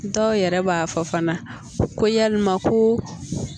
Dɔw yɛrɛ b'a fɔ fana ko yalama ko